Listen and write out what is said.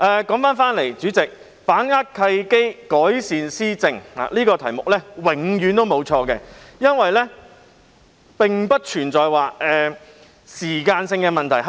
主席，說回議案，"把握契機，改善施政"這個題目永遠不會錯，因為改善施政並不存在時間性問題。